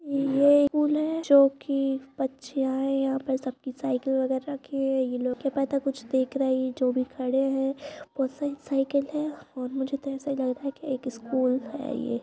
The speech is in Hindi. ये स्कूल है| जो की बच्चे आए हैं यहाँ पर सबकी साइकिल वगैरह रक्खी हुई हैं| यह लोग जो खड़े हैं कुछ देख रहे हैं जो अभी खड़े हैं और मुझे तो ऐसे ही लग रहा है एक स्कूल है ये ।